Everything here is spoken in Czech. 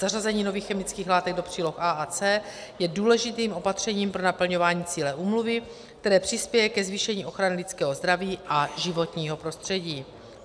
Zařazení nových chemických látek do příloh A a C je důležitým opatřením pro naplňování cíle úmluvy, které přispěje ke zvýšení ochrany lidského zdraví a životního prostředí.